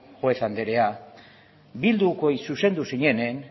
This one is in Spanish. juez andrea bildukoi zuzendu zinenean